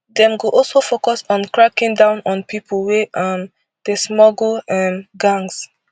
dem go also focus on cracking down on pipo wey um dey smuggle um gangs